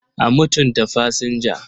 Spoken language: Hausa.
A mutunta fasinja.